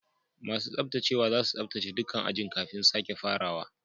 Masun tsabtacewa zasu tsabtace dukan ajin kafin sake farawa.